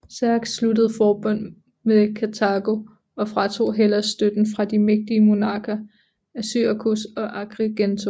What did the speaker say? Xerxes sluttede forbund med Karthago og fratog Hellas støtten fra de mægtige monarker af Syrakus og Agrigento